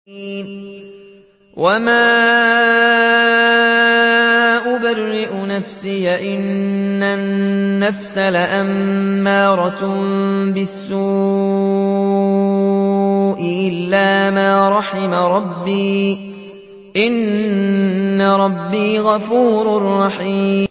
۞ وَمَا أُبَرِّئُ نَفْسِي ۚ إِنَّ النَّفْسَ لَأَمَّارَةٌ بِالسُّوءِ إِلَّا مَا رَحِمَ رَبِّي ۚ إِنَّ رَبِّي غَفُورٌ رَّحِيمٌ